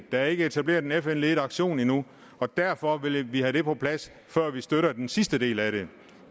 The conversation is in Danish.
der ikke er etableret en fn ledet aktion endnu og derfor vil vi have det på plads før vi støtter den sidste del af det